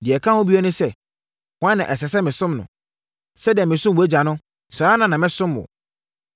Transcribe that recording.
Deɛ ɛka ho bio ne sɛ, hwan na ɛsɛ sɛ mesom no? Sɛdeɛ mesom wʼagya no, saa ara na mɛsom wo.”